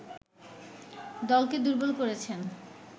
দলকে দুর্বল করেছেন